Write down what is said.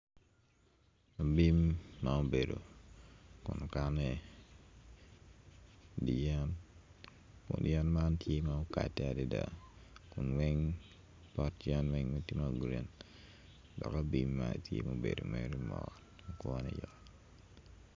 Bim ma obedo kun okanne i wi yen kun yen man tye ma okade adada kun pot yen tye ma green dok bim man tye obedo mere mot kowne yo.